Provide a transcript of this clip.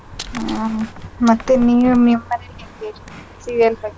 ಹ.. ಮತ್ತೆ ನೀವ್ ನಿಮ್ ಮನೇಲಿ ಹೆಂಗೆ serial ಬಗ್ಗೆ.